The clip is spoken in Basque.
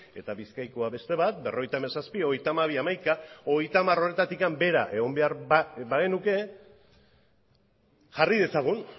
eta bizkaikoa beste bat berrogeita hamazazpi hogeita hamabi hamaika hogeita hamar horretatik bera egon behar bagenuke jarri dezagun